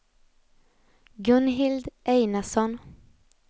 Gunhild Einarsson